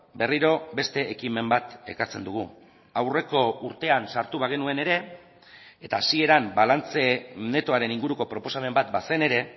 berriro beste ekimen bat ekartzen dugu aurreko urtean sartu bagenuen ere eta hasieran balantze netoaren inguruko proposamen bat bazen ere